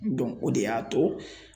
o de y'a to